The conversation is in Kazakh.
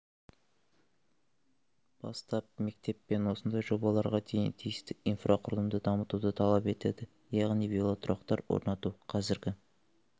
бастап мектеп пен осындай жобаларға дейін тиісті инфрақұрылымды дамытуды талап етеді яғни велотұрақтар орнату қазіргі